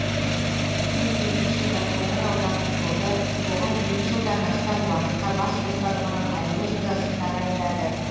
нөмір екінші байқоңыр аудандық соты оған екі жылдан астам уақытқа бас бостандығынан айыру жазасын тағайындады